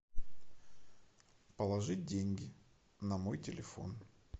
положить деньги на мой телефон